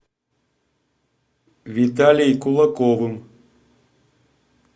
виталей кулаковым